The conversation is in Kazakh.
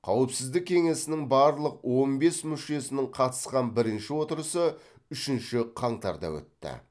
қауіпсіздік кеңесінің барлық он бес мүшесінің қатысқан бірінші отырысы үшінші қаңтарда өтті